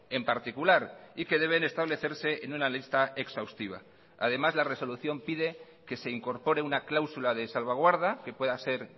en particular y que deben establecerse en una lista exhaustiva además la resolución pide que se incorpore una cláusula de salvaguarda que pueda ser